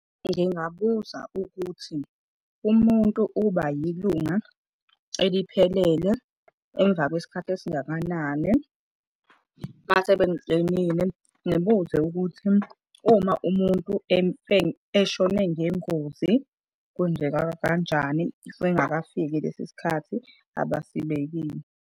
Ngingabuza ukuthi umuntu uba yilunga eliphelele emva kwesikhathi esingakanani. Mase bengitshenile, ngibuze ukuthi uma umuntu eshone ngengozi, kwenzeka kanjani singakafiki lesi sikhathi abasibekile.